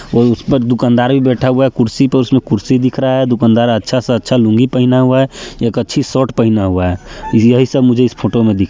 अउ उस पर दुकानदार भी बैठा हुआ है कुर्सी पर उसमे कुर्सी दिख रहा है दुकानदार अच्छा सा अच्छा लूँगी पहना हुआ है एक अच्छी शर्ट पहना हुआ है यही सब मुझे इस फोटो में दिख--